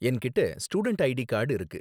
என்கிட்ட student ID card இருக்கு.